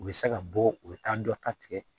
U bɛ se ka bɔ u bɛ taa dɔ ta tigɛ